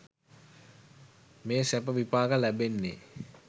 මේ සැප විපාක ලැබෙන්නේ.